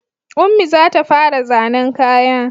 Ummi za ta fara zannen kaya